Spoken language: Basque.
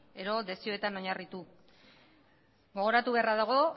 edo desioetan oinarritu gogoratu beharra dago